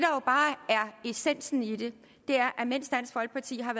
essensen i det er at mens dansk folkeparti har